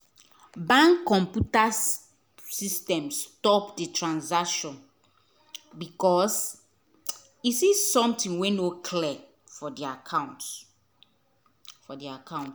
bank computer system stop the transaction because e see something wey no clear for the account. for the account.